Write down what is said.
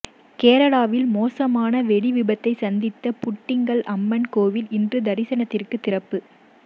கேரளாவில் மோசமான வெடிவிபத்தை சந்தித்த புட்டிங்கல் அம்மன் கோவில் இன்று தரிசனத்திற்கு திறப்பு